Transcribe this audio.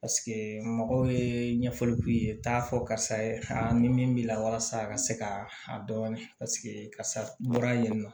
mɔgɔw ye ɲɛfɔli k'u ye u t'a fɔ karisa ye ni min b'i la walasa a ka se ka a dɔɔnin paseke karisa bɔra yen nɔ